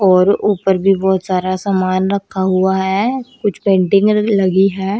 और ऊपर भी बहुत सारा समान रखा हुआ है कुछ पेंटिंगे लगी हैं।